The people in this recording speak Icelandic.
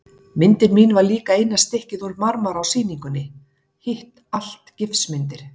Myndin mín var líka eina stykkið úr marmara á sýningunni, hitt allt gifsmyndir.